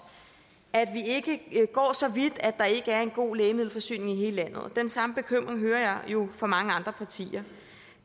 at vi ikke går så vidt at der ikke er en god lægemiddelforsyning i hele landet og den samme bekymring hører jeg jo fra mange andre partier